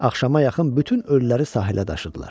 Axşama yaxın bütün ölüləri sahilə daşıdılar.